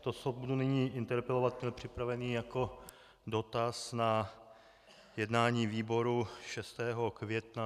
to, co budu nyní interpelovat, měl připraveno jako dotaz na jednání výboru 6. května.